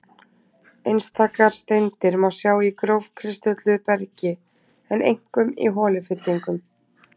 Einstakar steindir má sjá í grófkristölluðu bergi, en einkum í holufyllingum.